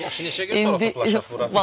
Yaxşı neçə gündən sonra toplaşaq bura?